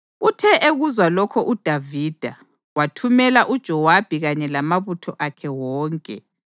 Uthe ekuzwa lokho uDavida, wathumela uJowabi kanye lamabutho akhe wonke.